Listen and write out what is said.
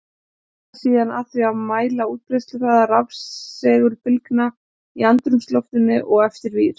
Hann sneri sér síðan að því að mæla útbreiðsluhraða rafsegulbylgna í andrúmsloftinu og eftir vír.